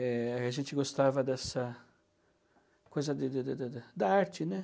Eh... A gente gostava dessa coisa da arte, né?